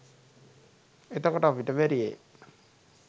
එතකොට අපිට බැරියෑ